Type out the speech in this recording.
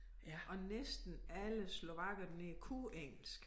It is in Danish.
Og næsten alle slovakkerne kunne engelsk